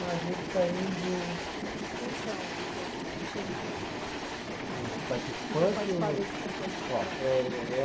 Mas a gente está indo. Quem são os outros times? os participantes ou. Que vão participar desse campeonato? É. O, eh eh